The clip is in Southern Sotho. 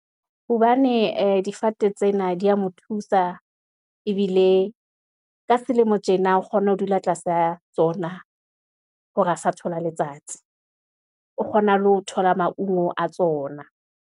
Hobane difate tsena di ya mo thusa, ebile ka selemo tjena, o kgona ho dula tlasa tsona, hore a sa thola letsatsi, o kgona le ho thola maungo a tsona.